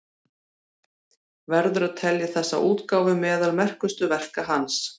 Verður að telja þessa útgáfu meðal merkustu verka hans.